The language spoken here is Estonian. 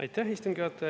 Aitäh, istungi juhataja!